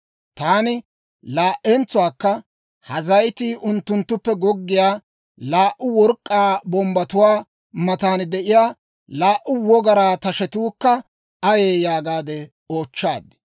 Taani laa"entsuwaakka, «Ha zayitii unttunttuppe goggiyaa laa"u work'k'aa bombbatuwaa matan de'iyaa laa"u wogaraa tashetuukka ayee?» yaagaade oochchaad.